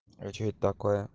а что это такое